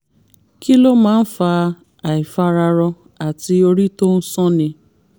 kí ló máa ń fa àìfararọ àti orí tó ń sánni?